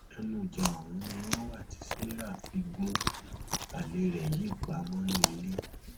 ẹnu ìjà ọhún ni wọn wà tí sarah fi gun alẹ rẹ yìí pa mọnú ilé